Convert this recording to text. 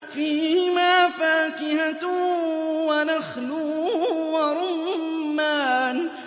فِيهِمَا فَاكِهَةٌ وَنَخْلٌ وَرُمَّانٌ